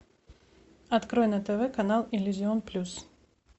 открой на тв канал иллюзион плюс